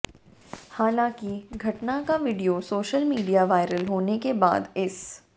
हालांकि घटना का वीडियो सोशल मीडिया वायरल होने के बाद इस